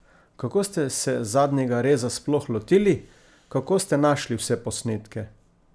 Kako ste se Zadnjega reza sploh lotili, kako ste našli vse posnetke?